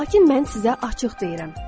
Lakin mən sizə açıq deyirəm.